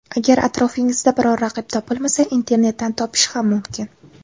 Agar atrofingizda biror raqib topilmasa, internetdan topish ham mumkin.